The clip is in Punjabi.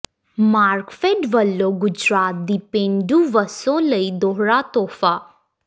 ਮਾਰਕਫੈਡ ਵੱਲੋਂ ਗੁਜਰਾਤ ਦੀ ਪੇਂਡੂ ਵਸੋਂ ਲਈ ਦੋਹਰਾ ਤੋਹਫਾ